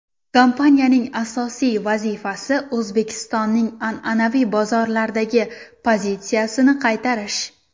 Kompaniyaning asosiy vazifasi O‘zbekistonning an’anaviy bozorlardagi pozitsiyasini qaytarish.